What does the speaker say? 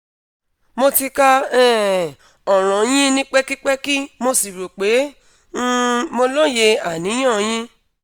mo ti ka um ọ̀ràn yín ní pẹkipẹki mo sì rò pé um mo loye aniyan yín